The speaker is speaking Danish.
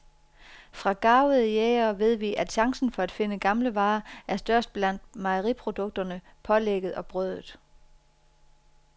Fra garvede jægere ved vi, at chancen for at finde gamle varer er størst blandt mejeriprodukterne, pålægget og brødet.